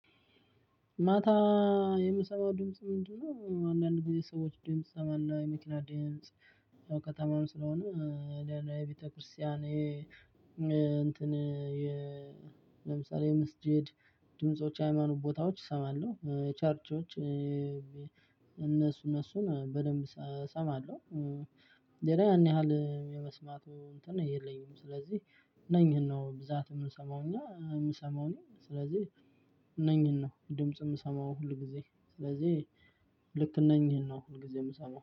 ማታ የምሰማው ድምጽ ምንድነው? አንዳንድ ጊዜ ሰዎች ድምጽ እሰማለሁ የመኪና ድምጽ። ያው ከተማም ስለሆነ ለሌላ የቤተክርስቲያን የ እንትን የ መስጂድ ድምጾች ሃይማኖት ቦታዎች እሰማለሁ ቻርቾች እነሱ እነሱን በደንብ እሰማለሁ። ሌላ ያን ያህል የመስማቱ እንትን የለኝም። ስለዚህ እነኝን ነው ብዛት የምንሰማው እኛ የምሰማው እኔ ስለዚህ እነኝህን ነው ድምጽ የምሰማው። ሁልጊዜ ስለዚህ ልክ እነኝህን ነው ሁልጊዜ ምሰማው